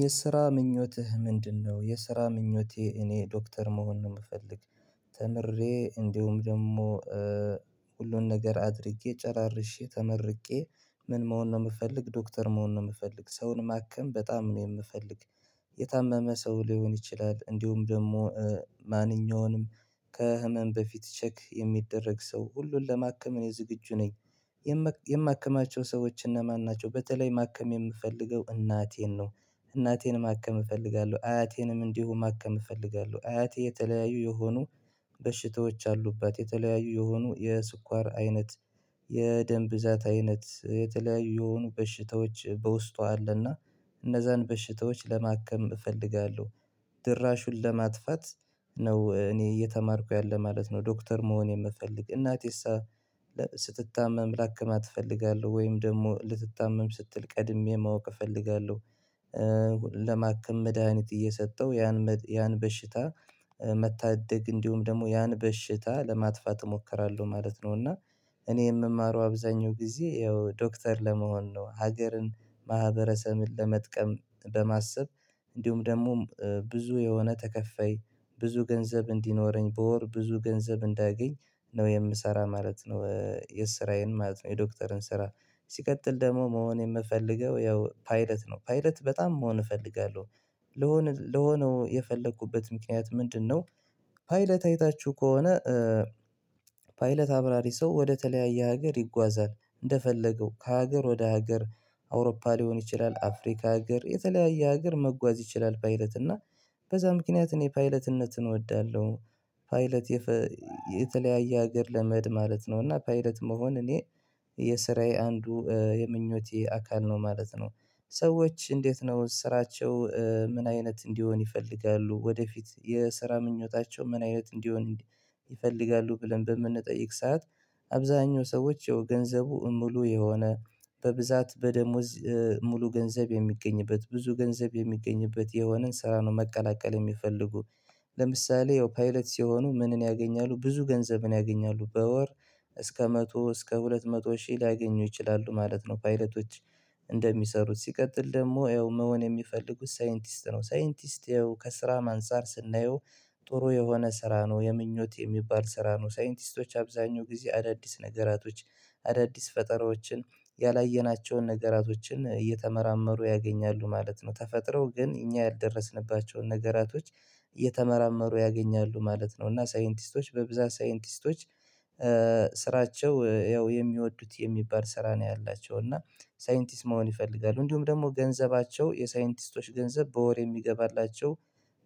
የስራ ምኞትህ ምንድነው? የስራ ምኞቴ እኔ ዶክተር መሆን ነው የምፈልግ ተምሬ እንዲሁም ደግሞ ሁሉን ነገር አድርጌ ጨራርሼ ተመርቄ ምን መሆን ነው የምፈልግ ዶክተር መሆን ነው የምፈልግ ሰውን ማከም በጣም ነው የምፈልግ የታመመ ሰው ሊሆን ይችላል እንዲሁም ደግሞ ማንኛውንም ከህመም በፊት ቼክ የሚደረግ ሰው ሁሉን ለማከም እኔ ዝግጁ ነኝ። የማከማቸው ሰዎች እነማን ናቸው? በተለይ ማከም የምፈልገው እናቴን ነው። እናቴን ማከም እፈልጋለሁ አያቴንም እንዲሁ ማከም እፈልጋለሁ። አያቴ የተለያዩ የሆኑ በሽታዎች አሉባት የተለያዩ የሆኑ የስኳር አይነት የደም ብዛት አይነት የተለያዩ የሆኑ በሽታዎች በውስጧ አለና። እነዛን በሽታዎች ለማከም እፈልጋለሁ። ድራሹን ለማጥፋት ነው እኔ እየተማርኩ ያለ ማለት ነው። ዶክተር መሆን የምፈልግ እናቴሳ ስትታመም ላከማት እፈልጋለሁ ወይም ደግሞ ልትታመም ስትል ቀድሜ ማወቅ እፈልጋለሁ። ለማክም መድሃኒት እየሰጠው ያን ያን በሽታ መታደግ እንዲሁም ደግሞ ያን በሽታ ለማጥፋት እሞክራለሁ ማለት ነው። እና እኔ የምማረው አብዛኛው ጊዜ ያው ዶክተር ለመሆን ነው። ሀገርን ማህበረሰብን ለመጥቀም በማሰብ እንዲሁም ደግሞ ብዙ የሆነ ተከፈይ ብዙ ገንዘብ እንዲኖረኝ በወር ብዙ ገንዘብ እንዳያገኝ ነው የምሰራ ማለት ነው። የስራዬን ማለት ነው የዶክተርን ስራ ሲቀጥል ደግሞ መሆን የምፈልገው ያው ፓይለት ነው ፓይለት በጣም መሆን እፈልጋለሁ ለሆነ የፈለኩበት ምክንያት ምንድነው? ፓይለት አይታችሁ ከሆነ ፓይለት አብራሪ ሰው ወደተለያየ ሀገር ይጓዛል እንደፈለገው ከሀገር ወደ ሀገር። አውሮፓ ሊሆን ይችላል አፍሪካ ሀገር የተለያየ ሀገር መጓዝ ይችላል ፓይለት እና በዛ ምክንያት እኔ ፓይለትነትን እወዳለሁ። ፓይለት የተለያየ ሀገር ለመድ ማለት ነው። እና ፓይለት መሆን እኔ የስራዬ አንዱ የምኞቴ አካል ነው ማለት ነው። ሰዎች እንዴት ነው ስራቸው ምን አይነት እንዲሆን ይፈልጋሉ ወደፊት የስራ ምኞታቸው ምን አይነት እንዲሆን? ይፈልጋሉ ብለን በምንጠይቅ ሰዓት አብዛኛው ሰዎች የገንዘቡ ሙሉ የሆነ በብዛት በደሞዝ ሙሉ ገንዘብ የሚገኝበት ብዙ ገንዘብ የሚገኝበት የሆነን ስራ ነው መቀላቀል የሚፈልጉ። ለምሳሌ ያው ፓይለት ሲሆኑ ምንን ያገኛሉ? ብዙ ገንዘብን ያገኛሉ በወር እስከ መቶ እስከ ሁለት መቶ ሺህ ሊያገኙ ይችላሉ ማለት ነው። ፓይለቶች እንደሚሰሩት ሲቀጥል ደግሞ ያው መሆን የሚፈልጉት ሳይንቲስት ነው። ሳይንቲስት ይኸው ከስራ ማንፃር ስናየው ጥሩ የሆነ ስራ ነው። የምኞት የሚባል ስራ ነው ሳይንቲስቶች አብዛኛው ጊዜ አዳዲስ ነገራቶች አዳዲስ ፈጠራዎችን ያላየናቸውን ነገራቶችን እየተመራመሩ ያገኛሉ ማለት ነው። ተፈጥረው ግን እኛ ያልደረስንባቸውን ነገራቶች እየተመራመሩ ያገኛሉ ማለት ነው። እና ሳይንቲስቶች በብዛት ሳይንቲስቶች ስራቸው ያው የሚወዱት የሚባል ስራ ነው። ያላቸው እና ሳይንቲስት መሆን ይፈልጋሉ እንዲሁም ደግሞ ገንዘባቸው የሳይንቲስቶች ገንዘብ በወር የሚገባላቸው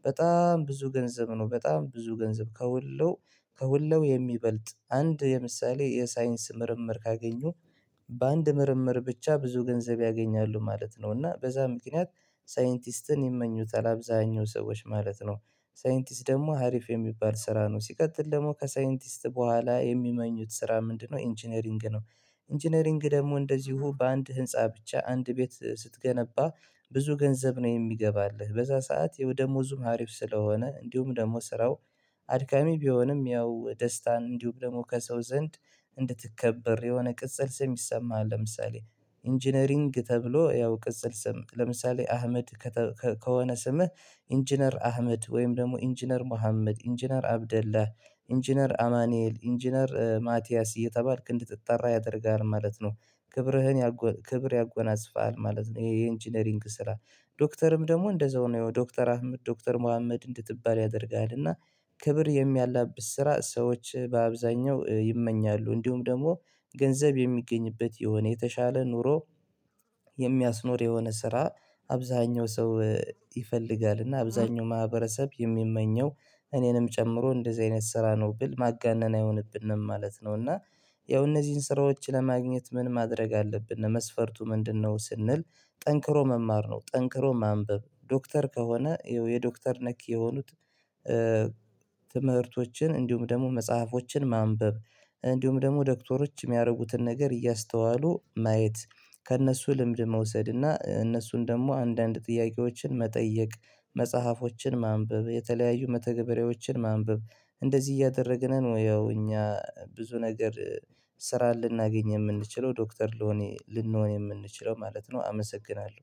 በጣም ብዙ ገንዘብ ነው። በጣም ብዙ ገንዘብ ከሁሉ ከሁሉ የሚበልጥ አንድ የምሳሌ የሳይንስ ምርምር ካገኙ በአንድ ምርምር ብቻ ብዙ ገንዘብ ያገኛሉ ማለት ነው። እና በዛ ምክንያት ሳይንቲስትን ይመኙታል አብዛኛው ሰዎች ማለት ነው። ሳይንቲስት ደግሞ ሀሪፍ የሚባል ስራ ነው። ሲቀጥል ደግሞ ከሳይንቲስት በኋላ የሚመኙት ስራ ምንድነው? ኢንጂነሪንግ ነው። ኢንጂነሪንግ ደግሞ እንደዚሁ በአንድ ህንፃ ብቻ አንድ ቤት ስትገነባ ብዙ ገንዘብ ነው የሚገባልህ በዛ ሰዓት የደሞዙ ሀሪፍ ስለሆነ እንዲሁም ደግሞ ስራው። አድካሚ ቢሆንም ያው ደስታን እንዲሁም ደግሞ ከሰው ዘንድ እንድትከበር የሆነ ቅጽል ስም ይሰማሃል። ለምሳሌ ኢንጂነሪንግ ተብሎ ያው ቅጽል ስም ለምሳሌ አህመድ ከሆነ ስምህ ኢንጂነር አህመድ፤ ወይም ደግሞ ኢንጂነር ሙሀመድ፤ ኢንጂነር አብደላህ፤ ኢንጂነር አማኑኤል፤ ኢንጂነር ማቲያስ፤ እየተባልክ እንድትጠራ ያደርጋል ማለት ነው። ክብርህን ክብር ያጎናጽፋል ማለት ነው። ይሄ የኢንጂነሪንግ ስራ ዶክተርም ደግሞ እንደዛው ነው የዶክተር አህመድ ዶክተር ሙሀመድ እንድትባል ያደርግሃል እና። ክብር የሚያላብስ ስራ ሰዎች በአብዛኛው ይመኛሉ እንዲሁም ደግሞ ገንዘብ የሚገኝበት የሆነ የተሻለ ኑሮ። የሚያስኖር የሆነ ስራ አብዛኛው ሰው። ይፈልጋልና አብዛኛው ማህበረሰብ የሚመኘው እኔንም ጨምሮ እንደዚህ አይነት ስራ ነው ብል ማጋነን አይሆንብንም ማለት ነው። እና ያው እነዚህን ስራዎች ለማግኘት ምን ማድረግ አለብን ለመስፈርቱ ምንድነው? ስንል ጠንክሮ መማር ነው። ጠንክሮ ማንበብ ዶክተር ከሆነ የዶክተር ነክ የሆኑት። ትምህርቶችን እንዲሁም ደግሞ መጽሐፎችን ማንበብ እንዲሁም ደግሞ ዶክተሮች የሚያደርጉትን ነገር እያስተዋሉ ማየት ከእነሱ ልምድ መውሰድ እና እነሱን ደግሞ አንዳንድ ጥያቄዎችን መጠየቅ መጽሐፎችን ማንበብ የተለያዩ መተገበሪያዎችን ማንበብ እንደዚህ እያደረግንን ወይ ያው እኛ ብዙ ነገር ስራ ልናገኝ የምንችለው ዶክተር። ልንሆን የምንችለው ማለት ነው። አመሰግናለሁ።